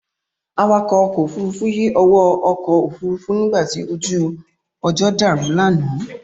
Awakọ̀ ọkọ̀ Òfurufú yí owó ọkọ̀ Òfurufú nígbàtí ojú ọjọ́ dàrú lánàá